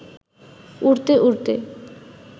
উড়তে উড়তে